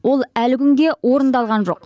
ол әлі күнге орындалған жоқ